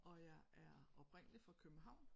Og jeg er oprindeligt fra København